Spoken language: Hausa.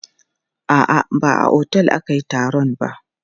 A'a, ba a otel ake taron ba.